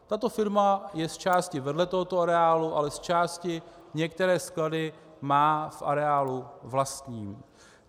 Tato firma je zčásti vedle tohoto areálu, ale zčásti některé sklady má v areálu vlastní.